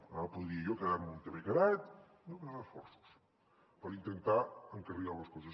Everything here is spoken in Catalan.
ara podria jo quedar me on m’he quedat no més esforços per intentar encarrilar les coses